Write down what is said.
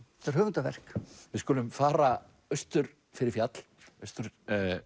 þetta er höfundarverk við skulum fara austur fyrir fjall austur